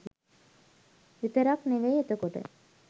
විතරක් නෙවෙයි එතකොට